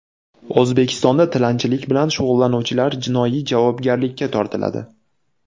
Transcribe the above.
O‘zbekistonda tilanchilik bilan shug‘ullanuvchilar jinoiy javobgarlikka tortiladi.